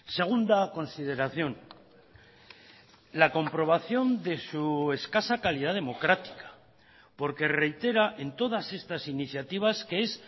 segunda consideración la comprobación de su escasa calidad democrática porque reitera en todas estas iniciativas que es